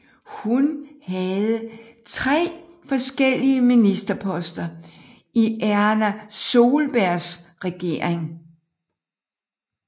Hun havde tre forskellige ministerposter i Erna Solbergs regering